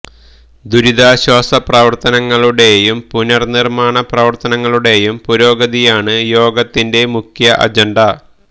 ദുരിതാശ്വാസ പ്രവർത്തനങ്ങളുടെയും പുനർനിർമ്മാണ പ്രവർത്തനങ്ങളുടെയും പുരോഗതിയാണ് യോഗത്തിന്റെ മുഖ്യ അജണ്ട